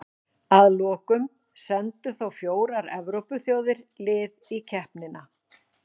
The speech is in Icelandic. Að lokum sendu þó fjórar Evrópuþjóðir lið í keppnina.